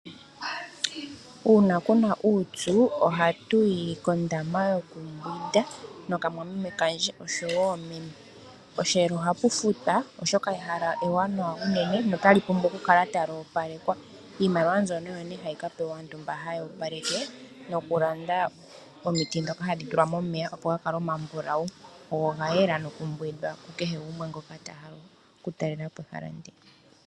Uuna kuna uupyu ohatuyi kondama yokumbwinda noka mwameme kandje oshowo meme. Posheelo ohapu futwa oshoka ehala ewanawa unene notalipumbwa okukala tali opalekwa . Iimaliwa mbyono oyo nee hayi kapewa aantu mba haya opaleke nokulanda omiti ndhoka hadhi tulwa momeya opo ga kale omambulawu go oga yela gokumbwinda kukehe gumwe ngoka ta talelepo ehala ndoka.